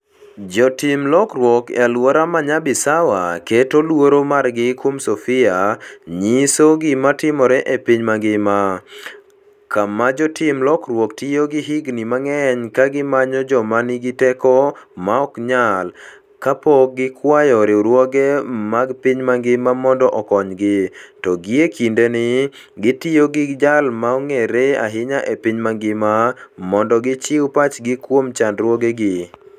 Jotim lokruok e alwora mar Nyabisawa keto luoro margi kuom Sofia, nyiso gima timore e piny mangima, kama jotim lokruok tiyo gi higini mang'eny ka gimanyo joma nigi teko maok nyal kony, kapok gikwayo riwruoge mag piny mangima mondo okonygi, to gie kindeni, gitiyo gi jal mong'ere ahinya e piny mangima mondo gichiw pachgi kuom chandruogegi.